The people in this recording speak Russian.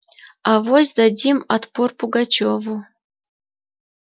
авось дадим отпор пугачёву